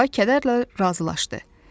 Qarğa kədərlə razılaşdı.